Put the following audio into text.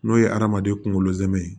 N'o ye hadamaden kunkolo zɛmɛ ye